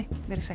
veriði sæl